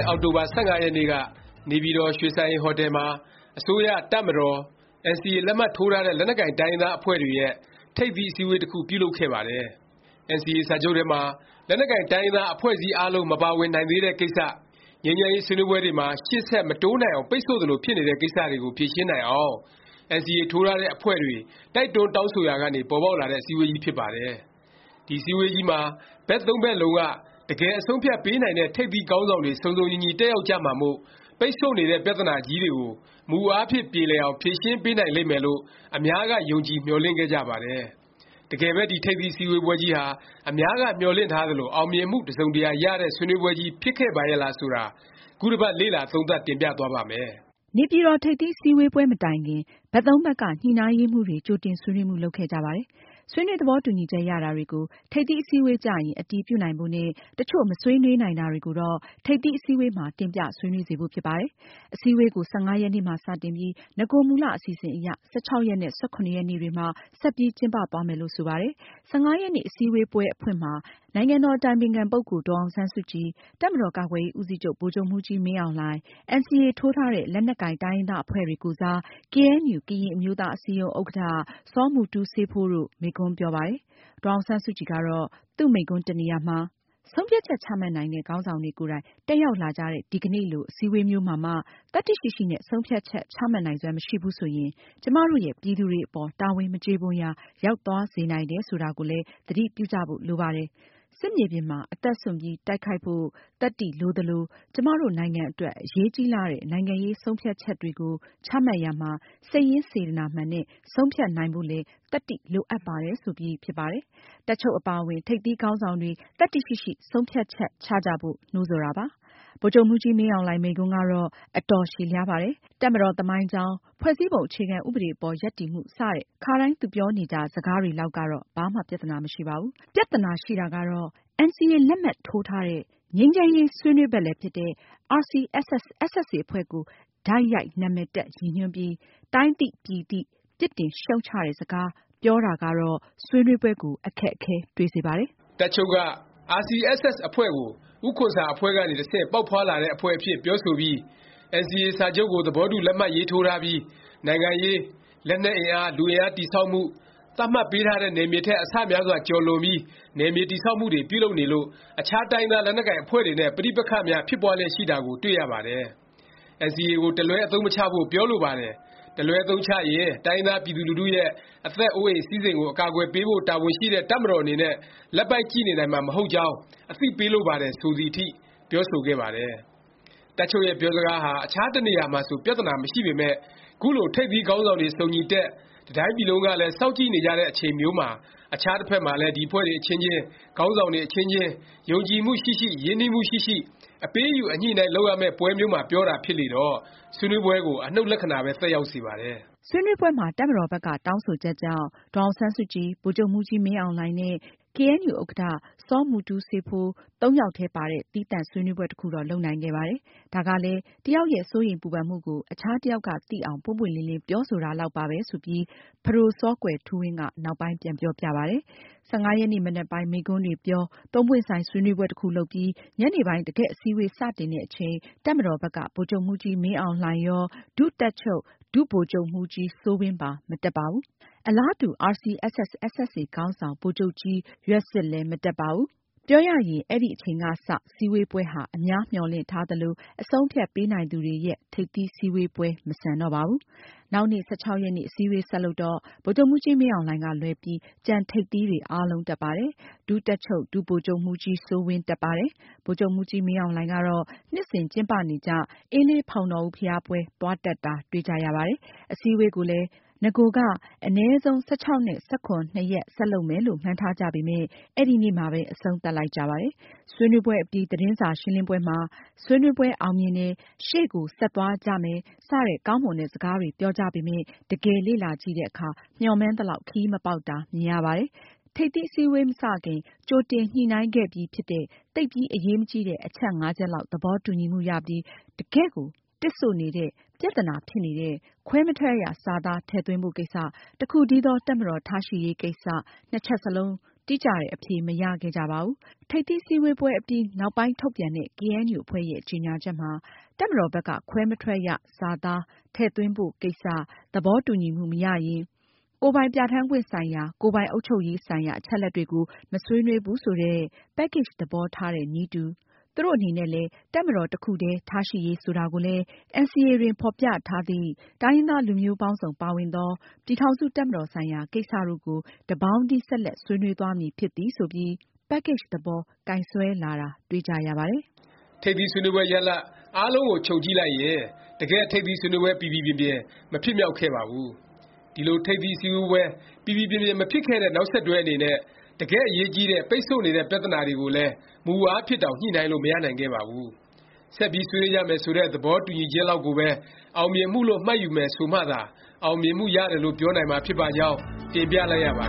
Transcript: ဲ့ အောက်တိုဘာ ၁၅ ရက်နေ့က နေပြည်တော် ရွှေစံအိမ်ဟိုတယ်မှာ အစိုးရ၊ တပ်မတော်၊ NCA လက်မှတ်ထိုးထားတဲ့ လက်နက်ကိုင် တိုင်းရင်းသား အဖွဲ့တွေရဲ့ ထိပ်သီး အစည်းအဝေး တစ်ခု ပြုလုပ်ခဲ့ပါတယ်။ NCA စာချုပ်ထဲမှာ လက်နက်ကိုင် တိုင်းရင်းသား အဖွဲ့အစည်း အားလုံး မပါဝင်နိုင်သေးတဲ့ကိစ္စ၊ ငြိမ်းချမ်းရေး ဆွေးနွေးပွဲတွေမှာ ရှေ့ဆက် မတိုးနိုင်အောင် ပိတ်ဆို့သလို ဖြစ်နေတဲ့ ကိစ္စတွေကို ဖြေရှင်းနိုင်အောင် NCA ထိုးထားတဲ့ အဖွဲ့တွေ တိုက်တွန်း တောင်းဆိုရာကနေ ပေါ်ပေါက်လာတဲ့ အစည်းအဝေးကြီးဖြစ်ပါတယ်။ ဒီအစည်းအဝေးကြီးမှာ ဘက်သုံးဖက်လုံးက တကယ် အဆုံးအဖြတ်ပေးနိုင်တဲ့ ထိပ်သီးခေါင်းဆောင်တွေ စုံစုံညီညီ တက်ရောက်ကြမှာမို့ ပိတ်ဆို့နေတဲ့ ပြသနာကြီးတွေကို မူအားဖြင့် ပြေလည်အောင် ဖြေရှင်းပေးနိုင်လိမ့်မယ်လို့ အများက ယုံကြည် မျှော်လင့်ခဲ့ကြပါတယ်။ တကယ်ပဲ ဒီ ထိပ်သီး အစည်းဝေးပွဲကြီးဟာ အများက မျှော်လင့်ထားသလို အောင်မြင်မှု တစ်စုံတစ်ရာ ရတဲ့ ဆွေးနွေးပွဲကြီး ဖြစ်ခဲ့ပါရဲ့လား ဆိုတာ ခုတစ်ပတ် လေ့လာသုံးသပ် တင်ပြသွားပါ့မယ်။ နေပြည်တော် ထိပ်သီးအစည်းဝေးပွဲ မတိုင်ခင် ဘက်သုံးဖက်က ညှိနှိုင်းရေးမှူးတွေ ကြိုတင်ဆွေးနွေးမှု လုပ်ခဲ့ကြပါတယ်။ ဆွေးနွေး သဘောတူညီချက် ရတာတွေကို ထိပ်သီးအစည်းအဝေး ကျရင် အတည်ပြုနိုင်ဖို့နဲ့ တစ်ချို့ မဆွေးနွေးနိုင်တာတွေကိုတော့ ထိပ်သီးအစည်းအဝေးမှာ တင်ပြဆွေးနွေးစေဖို့ ဖြစ်ပါတယ်။ အစည်းအဝေးကို ၁၅ ရက်နေ့မှာ စတင်ပြီး နဂိုမူလ အစီအစဉ်အရ ၁၆ ရက်နဲ့ ၁၇ ရက်နေ့တွေမှာ ဆက်ပြီး ကျင်းပသွားမယ်လို့ ဆိုပါတယ်။ ၁၅ ရက်နေ့ အစည်းအဝေးပွဲ အဖွင့်မှာ နိုင်ငံတော် အတိုင်ပင်ခံ ဒေါ်အောင်ဆန်းစုကြည်၊ တပ်မတော်ကာကွယ်ရေး ဦးစီးချုပ် ဗိုလ်ချုပ်မှူးကြီးမင်းအောင်လှိုင်၊ NCA ထိုးထားတဲ့ လက်နက်ကိုင် တိုင်းရင်းသား အဖွဲ့တွေ ကိုယ်စား ကေအဲန်ယူ ကရင်အမျိုးသားအစည်းအရုံး ဥက္ကဌ စောမူတူးစေးဖိုး တို့ မိန့်ခွန်းပြောပါတယ်။ ဒေါ်အောင်ဆန်းစုကြည်ကတော့ သူ့မိန့်ခွန်း တစ်နေရာမှာ “ ဆုံးဖြတ်ချက် ချမှတ်နိုင်တဲ့ ခေါင်းဆောင်တွေ ကိုယ်တိုင် တက်ရောက်လာကြတဲ့ ဒီကနေ့လို အစည်းအဝေးမျိုးမှာမှ သတ္တိရှိရှိနဲ့ ဆုံးဖြတ်ချက် ချမှတ်နိုင်စွမ်း မရှိဘူးဆိုရင် ကျွန်မတို့ရဲ့ ပြည်သူတွေအပေါ် တာဝန်မကျေပွန်ရာ ရောက်သွားစေနိုင်တယ် ဆိုတာကိုလည်း သတိပြုကြဖို့ လိုပါတယ်။ စစ်မြေပြင်မှာ အသက်စွန့်ပြီး တိုက်ခိုက်ကြနိုင်ဖို့ သတ္တိ လိုသလို ကျွန်မတို့နိုင်ငံအတွက် အရေးကြီးလှတဲ့ နိုင်ငံရေး ဆုံးဖြတ်ချက်တွေကို ချမှတ်ရာမှာ စိတ်ရင်းစေတနာမှန်နဲ့ ဆုံးဖြတ်နိုင်ဖို့လည်း “သတ္တိ” လိုအပ်ပါတယ်” ဆိုပြီးဖြစ်ပါတယ်။ တပ်ချုပ်အပါအဝင် ထိပ်သီးခေါင်းဆောင်တွေ သတ္တိရှိရှိ ဆုံးဖြတ်ချက် ချကြဖို့ နှိုးဆော်တာပါ။ ဗိုလ်ချုပ်မှူးကြီး မင်းအောင်လှိုင် မိန့်ခွန်းကတော့ အတော်ရှည်လျားပါတယ်။ တပ်မတော် သမိုင်းကြောင်း၊ ဖွဲ့စည်းပုံ အခြေခံ ဥပဒေအပေါ် ရပ်တည်မှု စတဲ့ ခါတိုင်း သူပြောနေကြ စကားတွေ လောက်ကတော့ ဘာမှ ပြသနာ မရှိပါဘူး။ ပြသနာရှိတာကတော့ NCA လက်မှတ်ထိုးထားတဲ့၊ ငြိမ်းချမ်းရေး ဆွေးနွေးဖက်လည်း ဖြစ်တဲ့ RCSS/SSA အဖွဲ့ကို တိုက်ရိုက် နာမည်တပ် ရည်ညွှန်းပြီး တိုင်းသိ ပြည်သိ ပြစ်တင်ရှုတ်ချတဲ့စကား ပြောတာကတော့ ဆွေးနွေးပွဲကို အခက်အခဲ တွေ့စေပါတယ်။ တပ်ချုပ်က RCSS/SSA အဖွဲ့ကို ဦးခွန်ဆာ အဖွဲ့ကနေ တဆင့်ပေါက်ဖွားလာတဲ့ အဖွဲ့အဖြစ် ပြောဆိုပြီး “NCA စာချုပ်ကို သဘောတူလက်မှတ် ရေးထိုးထားပြီး နိုင်ငံရေး၊ လက်နက်အင်အား၊ လူအင်အားတည် ဆောက်မှု၊ သတ်မှတ်ပေးထားတဲ့နယ်မြေထက် အဆများစွာကျော် လွန်ပြီး နယ်မြေတည်ဆောက်မှုတွေ ပြုလုပ်နေလို့ အခြားတိုင်းရင်းသား လက်နက်ကိုင်အဖွဲ့တွေနဲ့ ပဋိပက္ခများဖြစ်ပွားလျက်ရှိတာကို တွေ့ရ ပါတယ်။ NCA ကို တစ်လွဲအသုံးမချဖို့ပြောလိုပါတယ်။ တစ်လွဲအသုံးချရင် တိုင်းရင်းသား ပြည်သူလူထုရဲ့ အသက်၊ အိုးအိမ် စည်းစိမ်ကို အကာအကွယ်ပေးဖို့ တာဝန်ရှိတဲ့ တပ်မတော်အနေနဲ့ လက်ပိုက်ကြည့် နေနိုင်မှာမဟုတ်ကြောင်း အသိပေးလိုပါတယ်။” ဆိုသည်အထိ ပြောဆိုခဲ့ပါတယ်။ တပ်ချုပ်ရဲ့ ပြောစကားဟာ အခြားတစ်နေရာရာမှာဆို ပြသနာ မရှိပေမယ့် ခုလို ထိပ်သီးခေါင်းဆောင်တွေ စုံညီတက်၊ တစ်တိုင်းပြည်လုံးကလည်း စောင့်ကြည့်နေကြတဲ့ အချိန်မျိုးမှာ၊ အခြားတစ်ဖက်မှာလည်း ဒီအဖွဲ့တွေ အချင်းချင်း၊ ခေါင်းဆောင်တွေ အချင်းချင်း ယုံကြည်မှု ရှိရှိ၊ ရင်းနှီးမှုရှိရှိ အပေးအယူ အညှိအနှိုင်းလုပ်ရမယ့် ပွဲမျိုးမှာ ပြောတာ ဖြစ်လေတော့ ဆွေးနွေးပွဲကို အနှုတ်လက္ခဏာပဲ သက်ရောက်စေပါတယ်။ ဆွေးနွေးပွဲမှာ တပ်မတော်ဘက်က တောင်းဆိုချက်ကြောင့် ဒေါ်အောင်ဆန်းစုကြည်၊ ဗိုလ်ချုပ်မှူးကြီးမင်းအောင်လှိုင် နဲ့ ကေအဲန်ယူ ဥက္ကဌ စောမူတူးစေးဖိုး ၃ ယောက်ထဲပါတဲ့ သီးသန့် ဆွေးနွေးပွဲ တစ်ခုတော့ လုပ်နိုင်ခဲ့ပါတယ်။ ဒါကလည်း တစ်ယောက်ရဲ့ စိုးရိမ်ပူပန်မှုကို အခြားတစ်ယောက်က သိအောင် ပွင့်ပွင့်လင်းလင်း ပြောဆိုတာလောက်ပါပဲ ဆိုပြီး ပဒိုစောကွယ်ထူးဝင်းက နောက်ပိုင်း ပြန်ပြောပြပါတယ်။ ၁၅ ရက်နေ့ မနက်ပိုင်း မိန့်ခွန်းတွေပြော၊ သုံးပွင့်ဆိုင် ဆွေးနွေးပွဲတစ်ခု လုပ်ပြီး ညနေပိုင်း တကယ့်အစည်းဝေး စတင်တဲ့အချိန် တပ်မတော်ဘက်က ဗိုလ်ချုပ်မှူးကြီးမင်းအောင်လှိုင်ရော၊ ဒုတပ်ချုပ် ဒုဗိုလ်ချုပ်မှူးကြီးစိုးဝင်းပါ မတက်ပါဘူး။ အလားတူ RCSS/SSA ခေါင်းဆောင် ဗိုလ်ချုပ်ကြီး ရွက်ဆစ်လည်း မတက်ပါဘူး။ ပြောရရင် အဲဒီအချိန်ကစ စည်းဝေးပွဲဟာ အများမျှော်လင့်ထားသလို၊ အဆုံးအဖြတ် ပေးနိုင်သူတွေရဲ့ ထိပ်သီးအစည်းဝေးပွဲ မဆန်တော့ပါဘူး။ နောက်နေ့ ၁၆ ရက်နေ့ အစည်းအဝေး ဆက်လုပ်တော့ ဗိုလ်ချုပ်မှူးကြီးမင်းအောင်လှိုင် ကလွဲပြီး ကျန်ထိပ်သီးတွေ အားလုံး တက်ပါတယ်။ ဒုတပ်ချုပ် ဒုဗိုလ်ချုပ်မှူးကြီးစိုးဝင်း တက်ပါတယ်။ ဗိုလ်ချုပ်မှူးကြီး မင်းအောင်လှိုင်ကတော့ နှစ်စဉ် ကျင်းပနေကြ အင်းလေး ဖေါင်တော်ဦးဘုရားပွဲ သွားတက်တာ တွေ့ကြရပါတယ်။ အစည်းအဝေးကိုလည်း နဂိုက အနည်းဆုံး ၁၆-၁၇ နှစ်ရက် ဆက်လုပ်မယ်လို့ မှန်းထားကြပေမယ့် အဲဒီနေ့မှာပဲ အဆုံးသတ်လိုက်ကြပါတယ်။ ဆွေးနွေးပွဲအပြီး သတင်းစာရှင်းပွဲမှာ ဆွေးနွေးပွဲ အောင်မြင်တယ်၊ ရှေ့ကို ဆက်သွားကြမယ် စတဲ့ ကောင်းမွန်တဲ့ စကားတွေ ပြောကြပေမယ့် တကယ်လေ့လာကြည့်တဲ့အခါ မျှော်မှန်းသလောက် ခရီးမပေါက်တာ မြင်ရပါတယ်။ ထိပ်သီး အစည်းအဝေး မစခင် ကြိုတင် ညှိနှိုင်းခဲ့ပြီးဖြစ်တဲ့ သိပ်ပြီး အရေးမကြီးတဲ့ အချက် ချက်လောက် သဘောတူညီမှုရပြီး တကယ့်ကို တစ်ဆို့နေတဲ့ ပြသနာ ဖြစ်နေတဲ့ ခွဲမထွက်ရ စာသား ထည့်သွင်းဖို့ ကိစ္စ၊ တစ်ခုတည်းသော တပ်မတော် ထားရှိရေး ကိစ္စ နှစ်ချက်စလုံး တိကျတဲ့ အဖြေ မရခဲ့ကြပါဘူး။ ထိပ်သီးအစည်းဝေးပွဲအပြီး နောက်ပိုင်း ထုတ်ပြန်တဲ့ ကေအဲန်ယူ အဖွဲ့ရဲ့ ကြေငြာချက်မှာ တပ်မတော်ဘက်က ခွဲမထွက်ရ စာသား ထည့်သွင်းဖို့ ကိစ္စ သဘောတူညီမှု မရရင် ကိုယ်ပိုင်ပြဌာန်းခွင့်ဆိုင်ရာ၊ ကိုယ်ပိုင် အုပ်ချုပ်ရေးဆိုင်ရာ အချက်အလက်တွေကို မဆွေးနွေးဘူး ဆိုတဲ့ Package သဘောထားတဲ့နည်းတူ၊ သူတို့အနေနဲ့လည်း တပ်မတော် တစ်ခုတည်း ထားရှိရေး ဆိုတာကိုလည်း “NCA တွင် ဖော်ပြထားသည့် တိုင်းရင်းသား လူမျိုးပေါင်းစုံ ပါဝင်သော ပြည်ထောင်စု တပ်မတော်ဆိုင်ရာ ကိစ္စတို့ကို တစ်ပေါင်းတည်း ဆက်လက် ဆွေးနွေးသွားမည် ဖြစ်သည်။” ဆိုပြီး Package သဘော ကိုင်စွဲလာတာ တွေ့ကြရပါတယ်။ ထိပ်သီးဆွေးနွေးပွဲ ရလာဒ် အားလုံးကို ခြုံကြည့်လိုက်ရင် တကယ့် ထိပ်သီး စည်းဝေးပွဲ ပီပီပြင်ပြင် မဖြစ်မြောက်ခဲ့ပါဘူး။ ဒီလို ထိပ်သီးအစည်းဝေးပွဲ ပီပီပြင်ပြင် မဖြစ်ခဲ့တဲ့ နောက်ဆက်တွဲအနေနဲ့ တကယ့်အရေးကြီးတဲ့ ပိတ်ဆို့နေတဲ့ ပြသနာတွေကိုလည်း မူအားဖြင့်တောင် ညှိနှိုင်းလို့ မရနိုင်ခဲ့ပါဘူး။ ဆက်ပြီး ဆွေးနွေးကြမယ် ဆိုတဲ့ သဘောတူညီချက်လောက်ကိုပဲ အောင်မြင်မှုလို့ မှတ်ယူမယ် ဆိုမှသာ အောင်မြင်မှု ရတယ်လို့ ပြောနိုင်မှာ ဖြစ်ပါကြောင်း တင်ပြလိုက်ရပါ